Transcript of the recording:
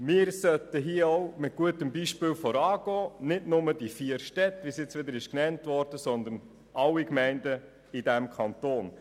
Wir sollten hier mit gutem Beispiel vorangehen, und zwar nicht nur die vier Städte, sondern alle Gemeinden in diesem Kanton.